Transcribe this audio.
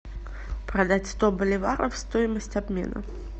продать сто боливаров стоимость обмена